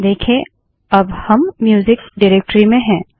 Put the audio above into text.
देखें अब हम म्यूजिक डाइरेक्टरी में हैं